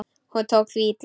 Hún tók því illa.